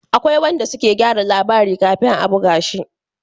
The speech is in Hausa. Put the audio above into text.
Akwai wanda suke gyara labari kafin a buga shi